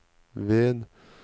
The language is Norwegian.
ved